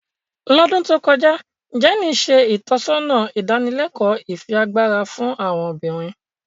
Lodun to kọja, Jenny ṣe itọsọna idanileko ifiagbara fun awọn obinrin.